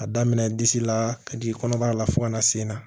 A daminɛ disi la ka jigin kɔnɔbara la fo ka na sen na